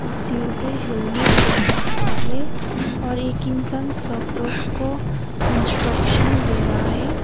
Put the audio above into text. सिर पे हेलमेट पहना हुआ है और एक इंसान लोग को इंस्ट्रक्शन दे रहा है।